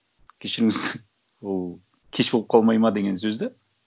кешіріңіз ол кеш болып қалмайды ма деген сөз де